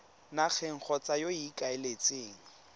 nageng kgotsa yo o ikaeletseng